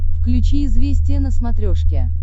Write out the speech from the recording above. включи известия на смотрешке